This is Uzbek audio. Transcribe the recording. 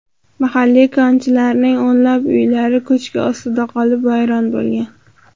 Mahalliy konchilarning o‘nlab uylari ko‘chki ostida qolib, vayron bo‘lgan.